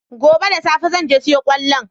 Gobe da safe zan je siyo kwallon.